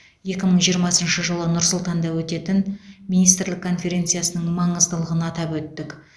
екі мың жиырмасыншы жылы нұр сұлтанда өтетін министрлік конференциясының маңыздылығын атап өттік